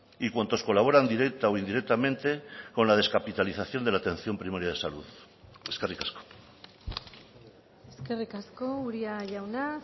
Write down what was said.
y cuantos colaboran directa o indirectamente con la descapitalización de la atención primaria de salud eskerrik asko eskerrik asko uria jauna